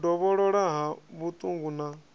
u dovholola ha vhuṱungu na